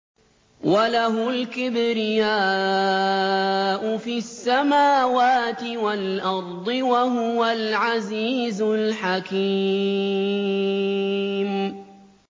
وَلَهُ الْكِبْرِيَاءُ فِي السَّمَاوَاتِ وَالْأَرْضِ ۖ وَهُوَ الْعَزِيزُ الْحَكِيمُ